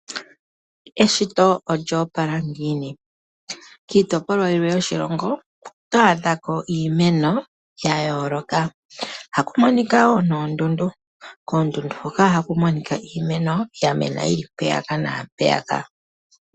Eshito olyo opala ngiini. Kiitopolwa yilwe yoshilongo oto adha ko iimeno ya yooloka. Ohaku monika wo noondundu. Koondundu hoka ohaku monika iimeno ya mena yili mpeyaka naampeyaka.